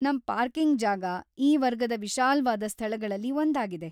ನಮ್ ಪಾರ್ಕಿಂಗ್ ಜಾಗ, ಈ ವರ್ಗದ ವಿಶಾಲ್ವಾದ ಸ್ಥಳಗಳಲ್ಲಿ ಒಂದಾಗಿದೆ.